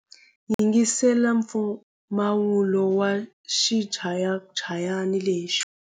Yingisela mpfumawulo wa xichayachayani lexi.